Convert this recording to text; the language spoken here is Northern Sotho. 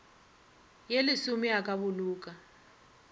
ye lesome a ka boloka